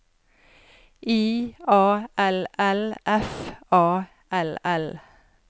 I A L L F A L L